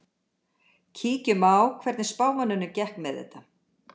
Kíkjum á hvernig spámönnunum gekk með þetta.